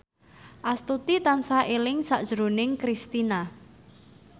Astuti tansah eling sakjroning Kristina